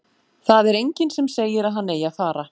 Það er enginn sem segir að hann eigi að fara.